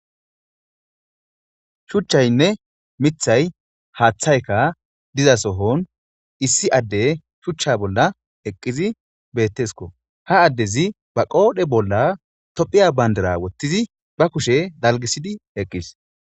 shuchchaynne mithay haaththayka diza sohon issi adde shuchcha bolla eqqizi beettesko ha addezi ba qoodhe bolla tophiya bandara wottizi ba kushe dalgisidi eqqis